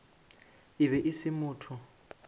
e be e se motho